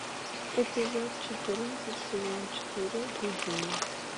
эпизод четырнадцать сезон четыре гудини